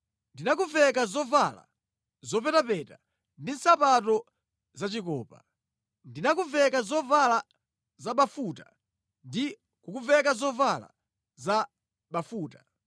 Ndinakuveka zovala zopetapeta ndi nsapato za chikopa. Ndinakuveka zovala zabafuta ndi kukuveka zovala za bafuta.